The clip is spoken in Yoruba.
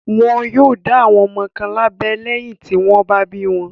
Wọn yóò dá ọmọ kọ̀ọ̀kan lábẹ́ lẹ́yìn tí wọ́n bá bí wọn.